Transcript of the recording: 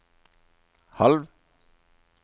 halv